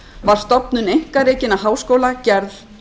var stofnun einkarekinna háskóla gerð